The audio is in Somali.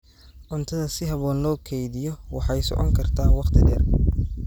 Cuntada si habboon loo kaydiyo waxay socon kartaa waqti dheer.